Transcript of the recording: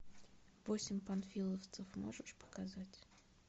восемь панфиловцев можешь показать